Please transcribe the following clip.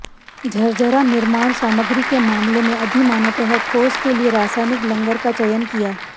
झरझरा निर्माण सामग्री के मामले में अधिमानतः ठोस के लिए रासायनिक लंगर का चयन किया